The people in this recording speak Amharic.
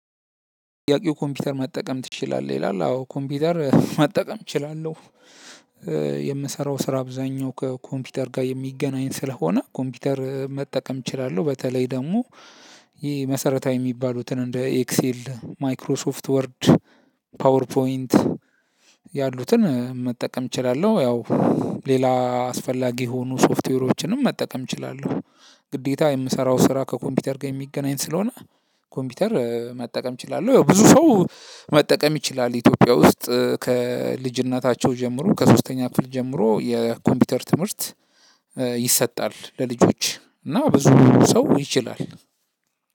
ጥያቄው ኮምፒውተር መጠቀም ትችላለህ? ይላል አዎ ኮምፒውተር መጠቀም እችላለሁ። የምሰራው ስራ አብዛኛው ከኮምፒውተር ጋር የሚገናኝ ስለሆነ ኮምፒውተር መጠቀም እችላለሁ። በተለይ ደግሞ ይሄ መሰረታዊ የሚባሉትን እንደ ኤክሴል ማይክሮሶፍት ወርድ ፓወር ፖይንት ያሉትን መጠቀም እችላለሁ። ያው ሌላ አስፈላጊ የሆኑ ሶፍትዌሮችንም መጠቀም እችላለሁ። ግዴታ የምሰራው ስራ ከኮምፒውተር ጋር የሚገናኝ ስለሆነ ኮምፒውተር መጠቀም እችላለሁ። ያው ብዙ ሰው መጠቀም ይችላል። ኢትዮጵያ ውስጥ ከልጅነታቸው ጀምሮ ከሶስተኛ ክፍል ጀምሮ የኮምፒውተር ትምህርት ይሰጣል። ለልጆች እና ብዙ ሰው ይችላል።